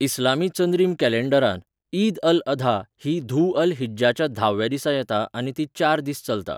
इस्लामी चंद्रीम कॅलॅण्डरांत, ईद अल अधा ही धु अल हिज्जाच्या धाव्या दिसा येता आनी ती चार दीस चलता.